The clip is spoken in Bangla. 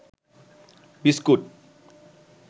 বিস্কুট